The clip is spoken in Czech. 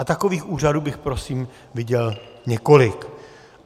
A takových úřadů bych prosím viděl několik.